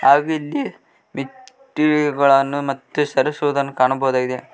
ಹಾಗು ಇಲ್ಲಿ ನಿಟ್ಟಿಗೆಗಳನ್ನು ಮತ್ತೆ ಸರಸುವುದನ್ನು ಕಾಣಬೋದಾಗಿದೆ.